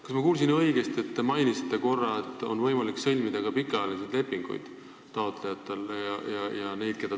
Kas ma kuulsin õigesti – te nagu korra mainisite –, et taotlejatel ja neil, keda toetatakse, on võimalik sõlmida ka pikaajalisi lepinguid?